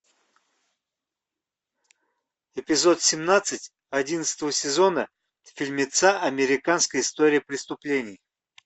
эпизод семнадцать одиннадцатого сезона фильмеца американская история преступлений